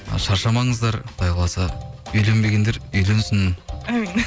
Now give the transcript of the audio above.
ы шаршамаңыздар құдай қаласа үйленбегендер үйленсін әумин